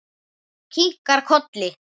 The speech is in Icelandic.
Kinkar kolli.